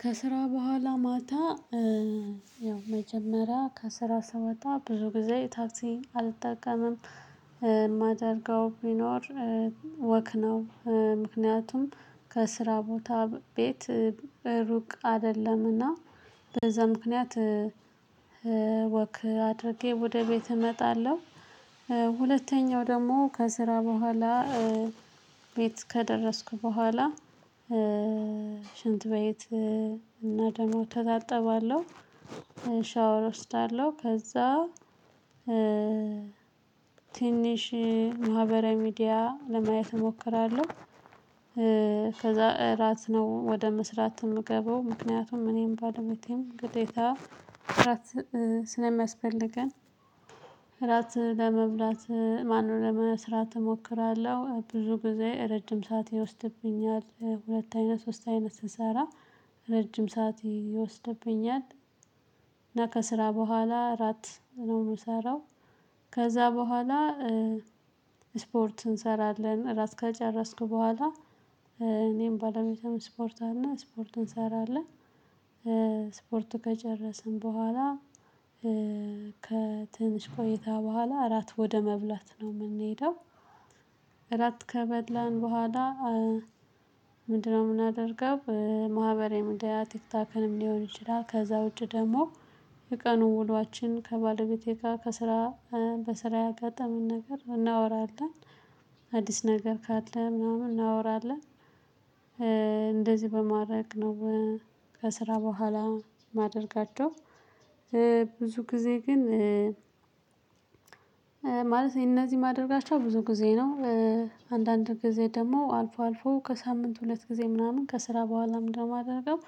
ከስራ በኋላ ማታ። ያው መጀመሪያ ከስራ ስወጣ ብዙ ጊዜ ታክሲ አልጠቀምም። የማደርገው ቢኖር። ወክ ነው ምክንያቱም ከስራ ቦታ ቤት ሩቅ አይደለምና። በዛ ምክንያት ወክ አድርጌ ወደ ቤት እመጣለሁ። ሁለተኛው ደግሞ ከስራ በኋላ ቤት ከደረስኩ በኋላ። ሽንት ቤት እና ደግሞ እተጣጠባለሁ። ሻወር እወስዳለሁ ከዛ። ትንሽ ማህበራዊ ሚዲያ ለማየት እሞክራለሁ። ከዛ እራት ነው ወደ መስራት የምገባው ምክንያቱም እኔም ባለቤቴም ግዴታ እራት ስለሚያስፈልገን። እራት ለመብላት ማነው ለመስራት እሞክራለሁ ብዙ ጊዜ ረጅም ሰዓት ይወስድብኛል። ሁለት አይነት ሶስት አይነት ስንሰራ ረጅም ሰዓት ይወስድብኛል። እና ከስራ በኋላ እራት ነው የምሰራው። ከዛ በኋላ። ስፖርት እንሰራለን ራስ ከጨረስኩ በኋላ እኔም ባለቤቴም ስፖርት አለ ስፖርት እንሰራለን። ስፖርቱ ከጨረስን በኋላ። ከትንሽ ቆይታ በኋላ አራት ወደ መብላት ነው የምንሄደው። አራት ከበላን በኋላ። ምንድነው የምናደርገው? ማህበራዊ ሚዲያ ቲክቶክንም ሊሆን ይችላል። ከዛ ውጪ ደግሞ የቀኑ ውሏችን ከባለቤቴ ጋር ከስራ በስራ ያጋጠመንን ነገር እናወራለን። አዲስ ነገር ካለ ምናምን እናወራለን። እንደዚህ በማድረግ ነው። ከስራ በኋላ ማደርጋቸው። ብዙ ጊዜ ግን ማለት እነዚህ ማደርጋቸው ብዙ ጊዜ ነው። አንዳንድ ጊዜ ደግሞ አልፎ አልፎ ከሳምንት ሁለት ጊዜ ምናምን ከስራ በኋላ ምንድን ነው ማደርገው?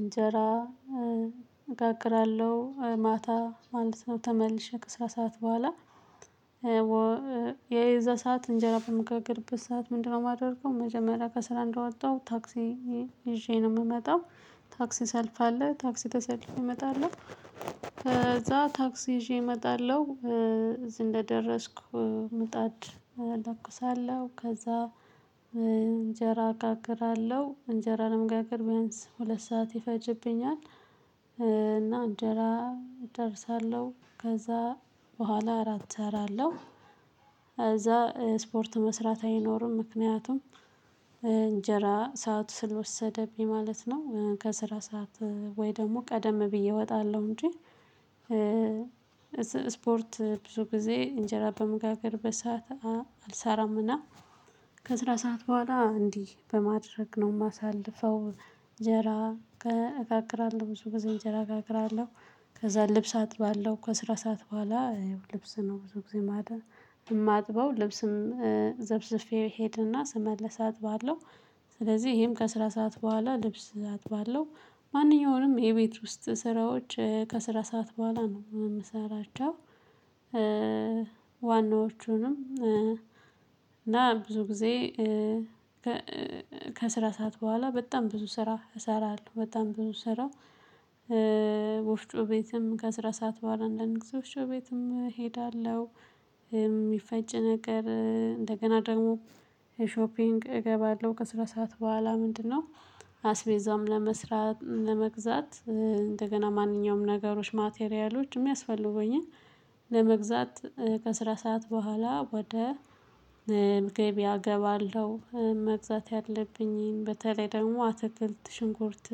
እንጀራ እጋግራለሁ። ማታ አንድ ሰዓት ተመልሼ ከስታ ሰዓት በኋላ። የዛ ሰዓት እንጀራ በመገርገርበት ሰዓት ምንድነው የማደርገው? መጀመሪያ ከስራ እንደወጣው ታክሲ ይዤ ነው የምመጣው። ታክሲ ሰልፍ አለ ታክሲ ተሰልፌ እመጣለሁ። ከዛ ታክሲ ይዤ እመጣለሁ እዚህ እንደደረስኩ ምጣድ እለኩሳለሁ። ከዛ እንጀራ አጋግራለሁ እንጀራ ለመጋገር ቢያንስ ሁለት ሰዓት ይፈጅብኛል። እና እንጀራ አደርሳለሁ ከዛ በኋላ እራት እሰራለሁ። እዛ ስፖርት መስራት አይኖርም ምክንያቱም እንጀራ ሰዓት ስለወሰደብኝ ማለት ነው። ከስራ ሰዓት ወይ ደግሞ ቀደም ብዬ እወጣለሁ እንጂ። ስፖርት ብዙ ጊዜ እንጀራ በምጋግርበት ሰዓት አልሰራምና። ከስራ ሰዓት በኋላ እንዲህ በማድረግ ነው የማሳልፈው። እንጀራ እጋግራለሁ ብዙ ጊዜ እንጀራ እጋግራለሁ። ከዛ ልብስ አጥባለው ከስራ ሰዓት በኋላ ልብስ ነው ብዙ ጊዜ ማጥብው የማጥበው ልብስም ዘፍዝፌ ሄደና ስመለስ አጥባለሁ። ስለዚህ ይሄም ከስራ ሰዓት በኋላ ልብስ አጥባለው። ማንኛውንም የቤት ውስጥ ስራዎች ከስራ ሰዓት በኋላ ነው የምሰራቸው። ዋናዎቹንም እና ብዙ ጊዜ ከስራ ሰዓት በኋላ በጣም ብዙ ስራ እሰራለሁ በጣም ብዙ ስራ። ወፍጮ ቤትም ከስራ ሰዓት በኋላ አንዳንድ ጊዜ ወፍጮ ቤትም እሄዳለሁ። የሚፈጭ ነገር እንደገና ደግሞ ሾፒንግ እገባለሁ። ከስራ ሰዓት በኋላ ምንድነው? አስቤዛውም ለመስራት ለመግዛት እንደገና ማንኛውም ነገሮች ማቴሪያሎች የሚያስፈልጉኝን ለመግዛት ከስራ ሰዓት በኋላ ወደ እገባለሁ መግዛት ያለብኝን በተለይ ደግሞ አትክልት ሽንኩርት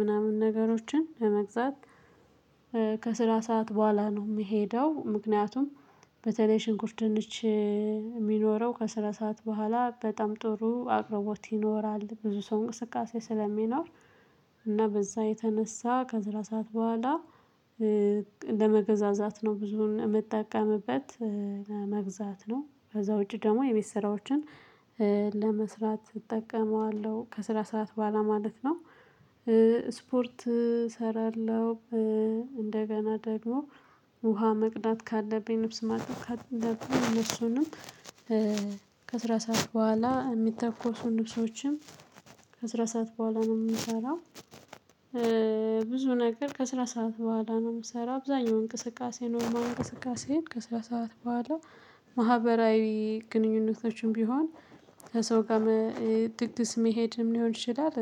ምናምን ነገሮችን ለመግዛት። ከስራ ሰዓት በኋላ ነው የምሄደው። ምክንያቱም በተለይ ሽንኩርት ድንች የሚኖረው ከስራ ሰዓት በኋላ በጣም ጥሩ አቅርቦት ይኖራል ብዙ ሰው እንቅስቃሴ ስለሚኖር። እና በዛ የተነሳ ከስራ ሰዓት በኋላ ለመገዛዛት ነው ብዙን የምጠቀምበት። ለመግዛት ነው ከዛ ውጪ ደግሞ የቤት ስራዎችን ለመስራት እጠቀመዋለሁ ከስራ ሰዓት በኋላ ማለት ነው። ስፖርት እሰራለሁ። እንደገና ደግሞ ውሃ መቅዳት ካለብኝ ልብስ ማጠብ ካለብኝ እሱንም ከስራ ሰዓት በኋላ የሚተኮሱ ንብሶችም ከስራ ሰዓት በኋላ ነው የምሰራው። ብዙ ነገር ከስራ ሰዓት በኋላ ነው የምሰራው። አብዛኛው እንቅስቃሴ ኖርማል እንቅስቃሴን ከስራ ሰዓት በኋላ ማህበራዊ ግንኙነቶችም ቢሆን ከሰው ጋር ድግስ መሄድም ሊሆን ይችላል።